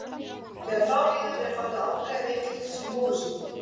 Þegar frá líður er farið að afgreiða veikindin sem móðursýki.